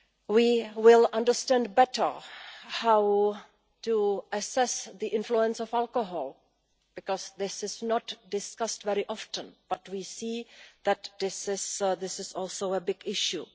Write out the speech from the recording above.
We will understand better how to assess the influence of alcohol because this is not discussed very often but we see that this is also a big issue.